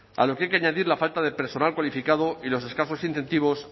a lo que hay que añadir la falta de personal cualificado y los escasos incentivos